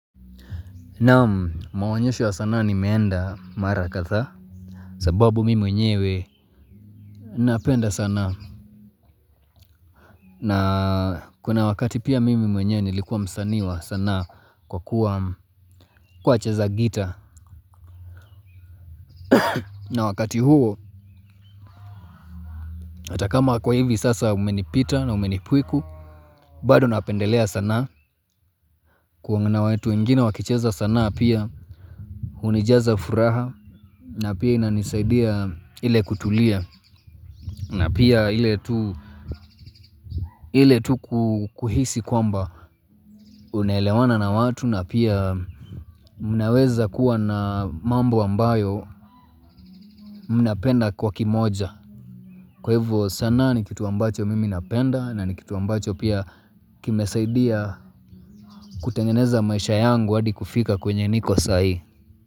Naam mawaonyesho wa sanaa nimeenda mara kadhaa sababu mimi mwenyewe napenda sana. Na kuna wakati pia mimi mwenye nilikuwa msani wa sanaa kwa kuwa cheza gita. Na wakati huo atakama kwa hivi sasa umenipita na umenipiku. Bado napendelea sanaa kuna watu wengine wakicheza sanaa pia. Hunijaza furaha na pia inanisaidia ile kutulia. Na pia ile tu kuhisi kwamba unelewana na watu na pia mnaweza kuwa na mambo ambayo mnapenda kwa kimoja. Kwa hivyo sanaa ni kitu ambacho mimi napenda na ni kitu ambacho pia kimesaidia kutengeneza maisha yangu hadi kufika kwenye niko sai.